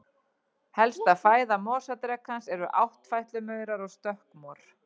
Helsta fæða mosadrekans eru áttfætlumaurar og stökkmor.